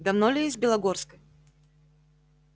давно ли из белогорской